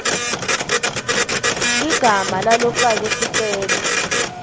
ligama lalofake sicelo